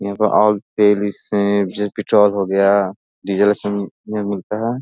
यहाँ पे है जैसे पेट्रोल हो गया डीजल सब इसमें मिलता है।